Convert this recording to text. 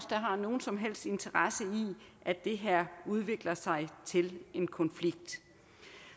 har nogen som helst interesse i at det her udvikler sig til en konflikt